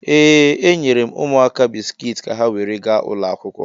Ee, enyere m ụmụaka bisikiiti ka ha were gaa ụlọ akwụkwọ.